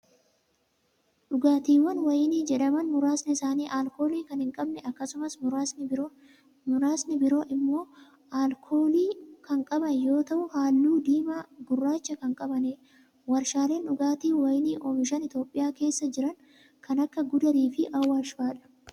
Dhugaatiin wayinii jedhaman muraasni isaanii alkoolii kan hin qabne akkasumas muraasni biroo immoo alkoolii kan qaban yoo ta'u, haalluu diimaa gurraacha kan qabanii dha. Warshaaleen dhugaatii wayinii oomishan Itoophiyaa keessa jiran kan akka Gudar fi Awaash faa'a dha.